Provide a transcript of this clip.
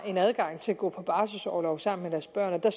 adgang til at gå på barselorlov sammen med deres børn og der